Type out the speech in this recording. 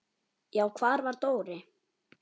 Já, hvar var Dóri?